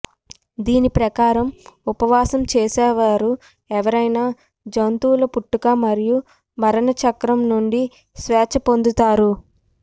దీని ప్రకారం ఉపవాసం చేసేవారు ఎవరైనా జంతువుల పుట్టుక మరియు మరణ చక్రం నుండి స్వేచ్ఛ పొందుతారు